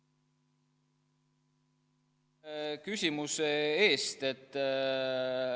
Aitäh küsimuse eest!